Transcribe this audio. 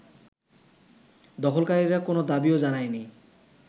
দখলকারীরা কোনো দাবিও জানায়নি